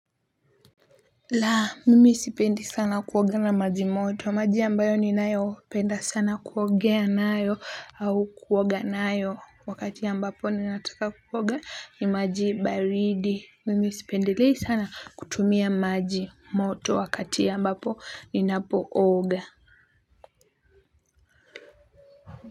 La mimi sipendi sana kuoga na maji moto maji ambayo ninayopenda sana kuogea nayo au kuoga nayo wakati ambapo ninataka kuoga ni maji baridi mimi sipendelei sana kutumia maji moto wakati ambapo ninapooga.